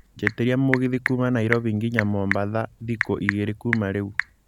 njĩtiĩria mũgithi kuuma Nairobi nginya mombatha thikũ igĩrĩ kuuma rĩũ